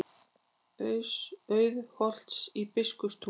Auðsholti í Biskupstungum.